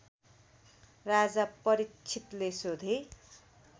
राजा परीक्षितले सोधे